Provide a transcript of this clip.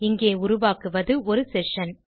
இங்கே உருவாக்குவது ஒரு செஷன்